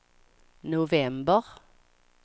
november